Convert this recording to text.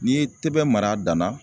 N'i ye tɛbɛn mara a danna